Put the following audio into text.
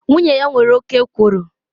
Nwunye ya nwere oke ekworo